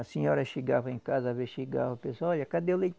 A senhora chegava em casa, às vezes chegava, a pessoa olha, cadê o leite?